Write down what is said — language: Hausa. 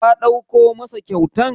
Ka ɗauko masa kyautan?